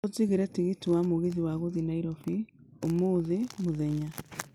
ũjigiĩre tikiti wa mugithi wa gũthiĩ Nairobi ũmũthĩ muthenya